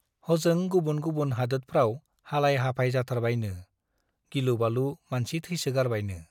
हजों गुबुन गुबुन हादोदफ्राव हालाय - हाफाय जाथारबायनो , गिलु- बालु मानसि थैसोगारबायनो ।